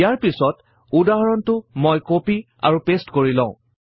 ইয়াৰ পিছৰ উদাহৰণটো মই কপি আৰু পাঁচতে কৰি লও